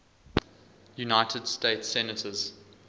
united states senators